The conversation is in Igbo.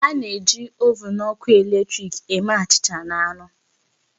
A na-eji ovụn ọkụ eletrik eme achịcha na anụ.